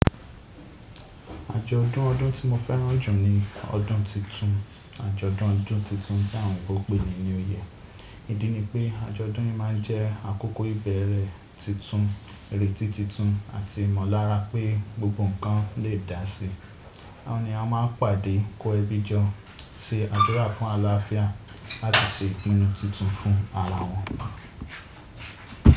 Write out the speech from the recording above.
Ajo odun ọdun ti mo fẹran ju ni ọdun titun. Ajọdun ọdun titun táhùn pe ni new year Ìdí ni pé ajọdun yìí máa jẹ́ àkókò ìbẹ̀rẹ̀ títún, èrè tí títún àti ìmọllára pé gbogbo nǹkan lè dási. Àwọn ènìyàn máa ń pàdé, kó ẹbí jọ, ṣe àdúrà fún àlàáfíà àti ṣe ìpinnu títún fún ara wọn.